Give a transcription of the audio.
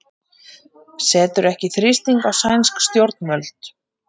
Setur ekki þrýsting á sænsk stjórnvöld